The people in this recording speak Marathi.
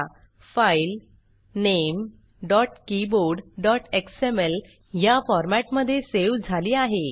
। फाइल keyboardxmlया फॉरमॅट मध्ये सेव झाली आहे